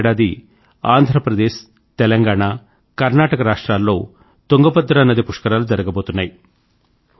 వచ్చే ఏడాది ఆంధ్ర ప్రదేశ్ తెలంగాణ కర్నాటక రాష్ట్రాల్లో తుంగభద్రా నది పుష్కరాలు జరగబోతున్నాయి